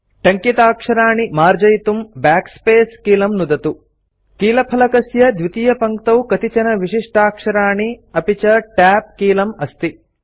टङ्किताक्षराणि मार्जयितुं Backspace कीलं नुदतु कीलफलकस्य द्वितीयपङ्क्तौ कतिचन विशिष्टाक्षराणि अपि च Tab कीलम् अस्ति